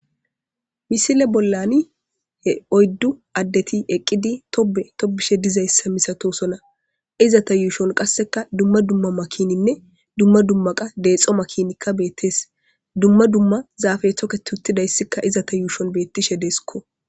misile bollani he oyddu addeti eqqidi tobe tobishe dizayssa misatosona iza ta yuushon qasseka dumma dumma makininne dumma dummaqa deexo makinikka beettees dumma dumma zaafe thoke t huttidayssika iza ta yuushon beettishe deesikko